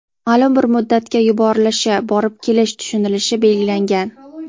maʼlum bir muddatga yuborilishi (borib kelish) tushunilishi belgilangan.